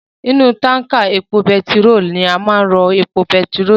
Inú tánkà epo betiró ni a máa n rọ epo betiró sii